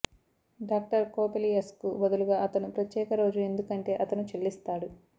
doctor కోపెలియస్కు బదులుగా అతను ప్రత్యేక రోజు ఎందుకంటే అతను చెల్లిస్తాడు